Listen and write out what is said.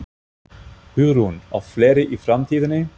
Hugrún: Og fleiri í framtíðinni?